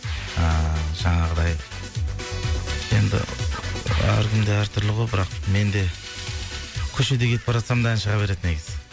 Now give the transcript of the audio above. ыыы жаңағыдай енді әркімде әр түрлі ғой бірақ менде көшеде кетіп бара жатсам да ән шыға береді негізі